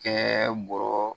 Kɛ bɔrɔ